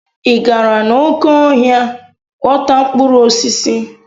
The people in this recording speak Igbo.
Ị gara n'oké ọhịa ghọta mkpụrụ osisi?